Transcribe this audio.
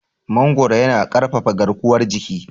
Mangoro yana ƙarfafa garkuwar jiki.